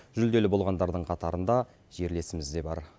жүлделі болғандардың қатарында жерлесіміз де бар